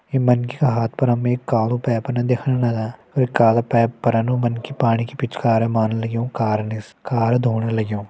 ये मनखीया हाथ पर हमे एक कालो पैपन दिखण लग। अर ये कालो पैप पर एनु मनखी पाणि कि पिचकारे मान लग्युं कार निस कार धोण लग्युं।